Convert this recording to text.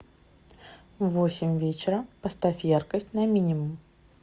в восемь вечера поставь яркость на минимум